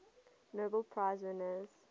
nobel prize winners